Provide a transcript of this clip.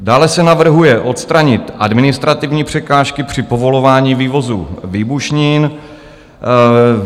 Dále se navrhuje odstranit administrativní překážky při povolování vývozu výbušnin.